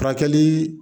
Furakɛli